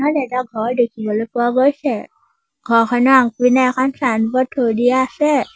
এইটো এটা ঘৰ দেখিবলৈ পোৱা গৈছে ঘৰখনৰ আগপিনে এখন ছাইনবোৰ্ড থৈ দিয়া আছে।